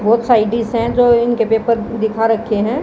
बहोत आई_डी स जो इनके पेपर दिखा रखे हैं।